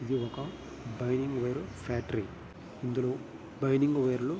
ఇది ఒక ఫ్యాక్టరీ ఇందులో బైనింగ్ వెరులు --